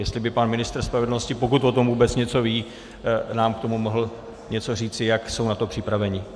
Jestli by pan ministr spravedlnosti, pokud o tom vůbec něco ví, nám k tomu mohl něco říci, jak jsou na to připraveni.